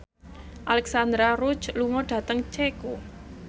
Alexandra Roach lunga dhateng Ceko